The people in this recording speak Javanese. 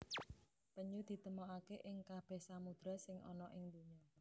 Penyu ditemokaké ing kabèh samudra sing ana ing donya